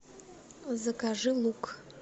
закажи лук